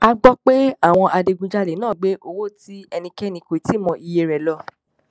a gbọ pé àwọn adigunjalè náà gbé owó tí ẹnikẹni kò tí ì mọ iye rẹ lọ